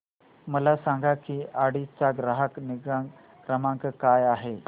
मला सांग की ऑडी चा ग्राहक निगा क्रमांक काय आहे